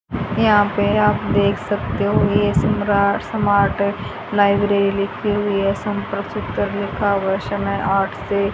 यहां पे आप देख सकते हो ये सम्राट समार्ट लाइब्रेरी लिखी हुई है संपर्क सूत्र लिखा हुआ समय आठ से--